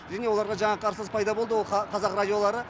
және оларға жаңа қарсылас пайда болды ол қазақ радиолары